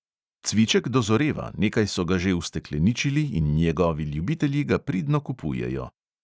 Cviček dozoreva, nekaj so ga že ustekleničili in njegovi ljubitelji ga pridno kupujejo.